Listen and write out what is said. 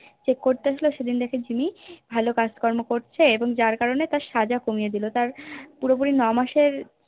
Check করতে এসেছিলো সেদিন দেখে জিম্মি ভালো কাজকর্ম করছে এবং যার কারণে তার সাজা কমিয়ে দিল তার পুরোপুরি নয় মাসের